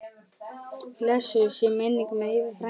Blessuð sé minning Eyva frænda.